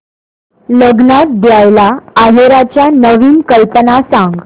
लग्नात द्यायला आहेराच्या नवीन कल्पना सांग